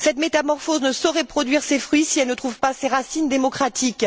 Cette métamorphose ne saurait produire ses fruits si elle ne trouve pas ses racines démocratiques.